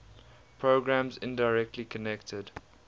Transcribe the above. programs indirectly connected